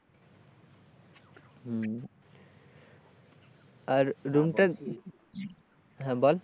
হম আর room টা হ্যাঁ বল?